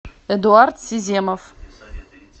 эдуард сиземов